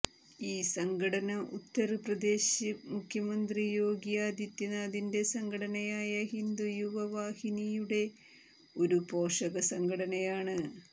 ഈ സംഘടന ഉത്തര് പ്രദേശ് മുഖ്യമന്ത്രി യോഗി ആദിത്യനാഥിന്റെ സംഘടനയായ ഹിന്ദു യുവ വാഹിനിയുടെ ഒരു പോഷക സംഘടനയാണ്